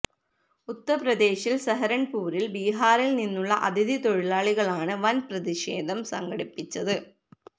ഉത്തർപ്രദേശിൽ സഹരൻപൂരിൽ ബീഹാറിൽ നിന്നുള്ള അതിഥി തൊഴിലാളികളാണ് വൻ പ്രതിഷേധം സംഘടിപ്പിച്ചത്